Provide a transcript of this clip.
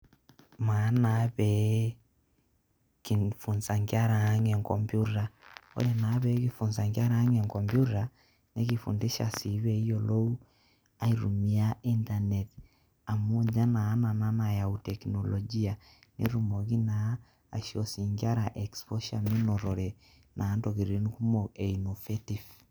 Maa naa pee kifunza nkera aang' enkomputa. Ore naa pee kifunza nkera aang' enkomputa nekifundisha sii pee eyolou aitumia internet amu nye naa nana nayau teknolojia netumoki naa aisho sii nkera exposure minotore naa ntokitin kumok e innovative.